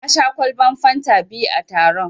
Na sha ƙwalban fanta biyu a taron.